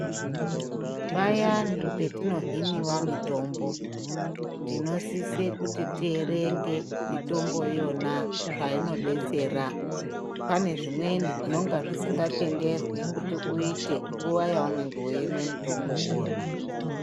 Payani petinohinawa mitombo tinosise kuti tierenge mitombo iyona zvainodetsera pane zvimweni zvinonga zvisingatenderwi kuti uite nguwa yeunonge weimwe mitombo uwona.